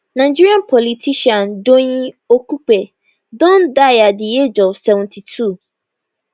nigerian politician doyin okupe don die at di age of 72